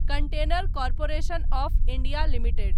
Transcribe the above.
container corporation of India limited